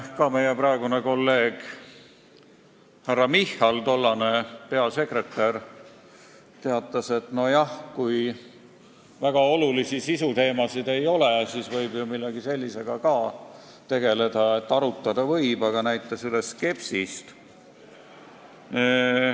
Meie praegune kolleeg härra Michal, toonane Reformierakonna peasekretär teatas, et nojah, kui väga olulisi sisuteemasid ei ole, siis võib ju ka millegi sellisega tegeleda – ütles, et arutada võib, aga näitas üles skepsist.